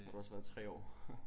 Har du også været 3 år